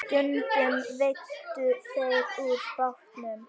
Stundum veiddu þeir úr bátnum.